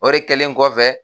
O de kɛlen kɔfɛ